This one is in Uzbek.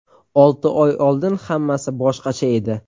Olti oy oldin hammasi boshqacha edi.